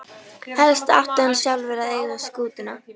Helst átti hann sjálfur að eiga skútuna.